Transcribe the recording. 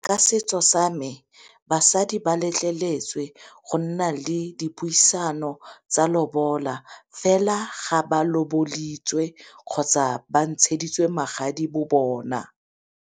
Ka setso sa me basadi ba letleletswe go nna le dipuisano tsa lobola fela ga ba kgotsa ba ntsheditswe magadi bo bona.